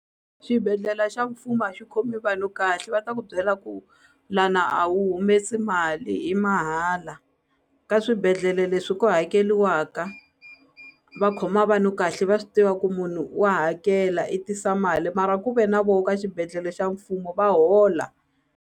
Xibedlhela xa mfumo a xi khomi vanhu kahle va ta ku byela ku lana a wu humesi mali i mahala ka swibedhlele leswi ku hakeliwaka va khoma vanhu kahle va swi tiva ku munhu wa hakela i tisa mali mara ku ve na vo ka xibedhlele xa mfumo va hola.